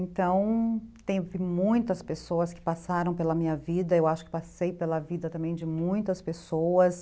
Então, tem muitas pessoas que passaram pela minha vida, eu acho que passei pela vida também de muitas pessoas.